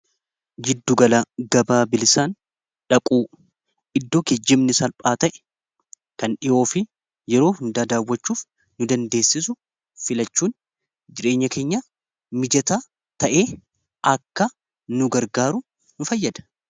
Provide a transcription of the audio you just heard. Jidduugala gabaa bilisaan dhaquu iddoo kejjimni salphaa ta'e kan dhi'oo fi yeroo hundaa daawwachuuf nu dandeessisu filachuun jireenya kenya mijata ta'ee akka nu gargaaru nu fayyada.